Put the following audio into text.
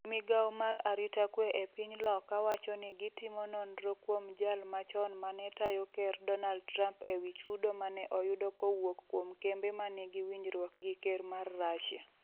migawo mar arita kwe e piny Loka wacho ni gitimo nonro kuom jal machon mane tayo ker Donald Trump ewi chudo mane oyudo kowuok kuom kembe ma nigi winjruok gi ker mar Russia.